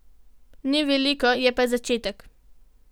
Ni veliko, je pa začetek.